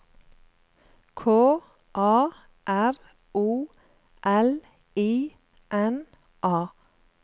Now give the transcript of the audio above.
K A R O L I N A